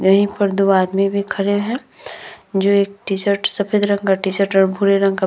यहाँ पे दो आदमी भी खड़े है जो एक टी-शर्ट सफ़ेद रंग का टी-शर्ट भूरे रंग का --